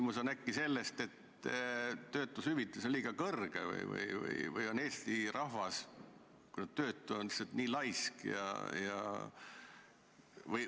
Äkki on asi ka selles, et töötuskindlustushüvitis on liiga suur või on Eesti rahvas – vähemalt töötud –, lihtsalt nii laisk?